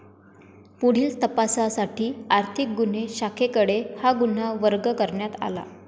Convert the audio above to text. पुढील तपासासाठी आर्थिक गुन्हे शाखेकडे हा गुन्हा वर्ग करण्यात आला.